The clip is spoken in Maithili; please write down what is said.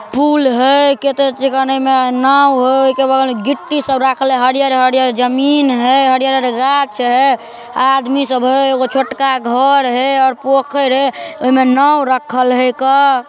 पूल है केटा चिकाने में नाव हय के बगल में गिट्टी सब राखले हरियर-हरियर जमीन है हरियर-हरियर गाछ है आदमी सब है एगो छोटका घोर है और पोखर है ओय में नाव रखल हय एक अ।